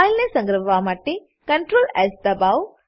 ફાઈલને સંગ્રહવા માટે CtrlS દબાવો